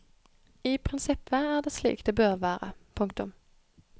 I prinsippet er det slik det bør være. punktum